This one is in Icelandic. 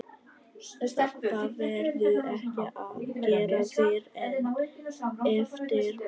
Það verður ekkert að gera fyrr en eftir ball.